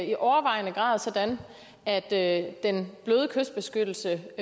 i overvejende grad sådan at at den bløde kystbeskyttelse